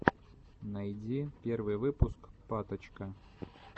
найди первый выпуск паточка